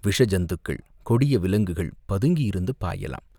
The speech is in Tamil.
விஷ ஜந்துக்கள், கொடிய விலங்குகள் பதுங்கியிருந்து பாயலாம்.